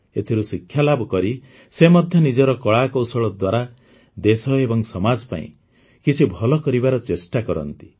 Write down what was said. ଏଥିରୁ ଶିକ୍ଷାଲାଭ କରି ସେ ମଧ୍ୟ ନିଜର କଳାକୌଶଳ ଦ୍ୱାରା ଦେଶ ଏବଂ ସମାଜ ପାଇଁ କିଛି ଭଲ କରିବାର ଚେଷ୍ଟା କରନ୍ତି